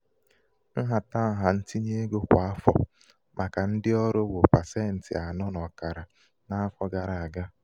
nhatanha ntinye ego kwa afọ màkà ndị ọrụ bụ pasenti anọ na ọkara um n'afọ gara aga.